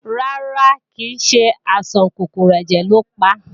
Rárá, kìí ṣe àìsàn kòkòrò ẹ̀jẹ̀ lo pa